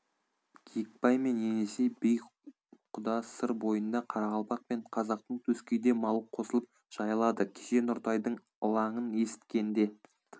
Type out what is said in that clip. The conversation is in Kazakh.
киікбай мен енесей би құда сыр бойында қарақалпак пен қазақтың төскейде малы қосылып жайылады кеше нұртайдың ылаңын есіткенде